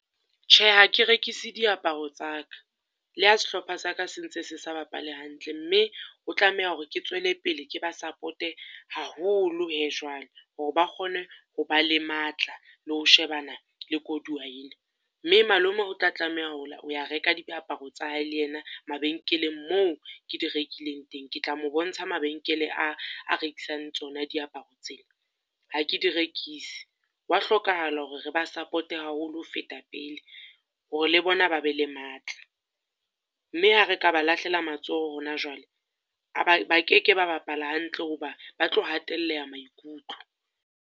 Tjhe, ha ke rekise diaparo tsa ka, le ha sehlopha sa ka se ntse se sa bapale hantle mme o tlameha hore ke tswele pele ke ba support-e haholo he jwale, hore ba kgone ho ba le matla le ho shebana le koduwa ena. Mme malome o tla tlameha ho ho ya reka diaparo tsa hae le ena mabenkeleng moo ke di rekileng teng. Ke tla mo bontsha mabenkeleng a a rekisang tsona diaparo tse, ha ke di rekise. Ho wa hlokahala hore re ba support-e haholo ho feta pele, hore le bona ba be le matla. Mme ha re ka ba lahlela matsoho hona jwale, a ba ba keke ba bapala hantle ho ba ba tlo hatelleha maikutlo.